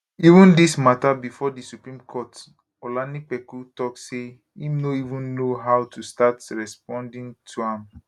even dis mata bifor di supreme court olanipekun tok say im no even know how to start responding to am